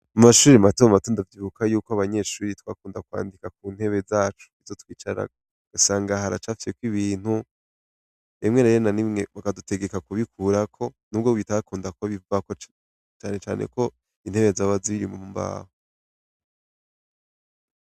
Mu mashure matomato ndavyibuka yuko abanyeshure twakunda kwandika ku ntebe zacu izo twicarako ,ugasanga haracafyeko ibintu ,rimwe rero na rimwe bakadutegeka kubikurako nubwo bitakunda ko bivako cane cane ko intebe zaba ziri mu mbaho.